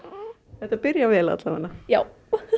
þetta byrjar vel alla vega já